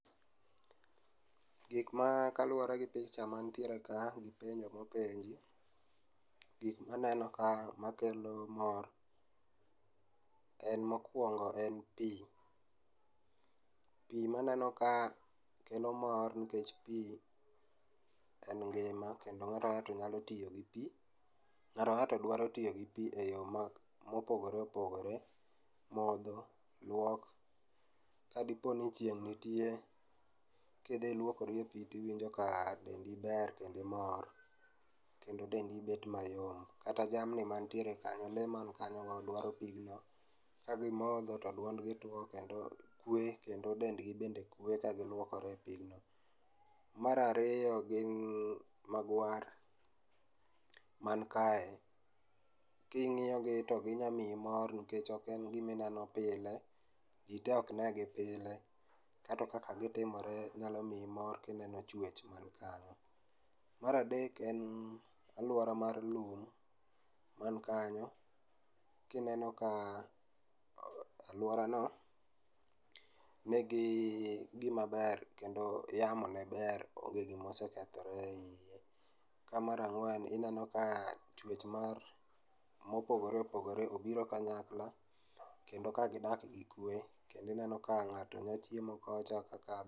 Gikma kaluore gi picha mantiere ka gi penjo mopenji. Gikma aneno ka makelo mor en mokuongo en pii, pii maneno ka kelo mor nikech pii en ngima kendo ng'ato ka ng'ato nyalo toyo gi pii, ng'at kang'anto dwa tiyo gi pii e yore ma opoogre opogore, modho, luok, kadiponi chieng' nitie, kidhi iluokori e pii tiwinjo ka dendi ber dendi mor kendo iwinjo ka dendi bet mayom. Kata jamni mantiere kanyo, lee mantie kanyo dwaro pigno, kagimodho to duondgi tuo, kwe, kendo dendgi bende kwee ka giluokore e pigno. Mar ariyo gin, magwar man kae, king'iyo gi to ginya miyi mor nikech oken gima ineno pile, jii tee ok negi pile, kata kaka gitimore ginyalo miyi mor kineno chwech mantiere kanyo. Mar adek, en aluora mar lum man kanyo kineno ka aluora no nigi gima ber kendo yamo ne ber ,onge gima osekethore e iye, ka mar angwen ineno ka chwech mar ,mopogore opogore obiro kanyakla kendo ka gidak gi kwee kendo ineno ka ng'ato ne chiemo kocha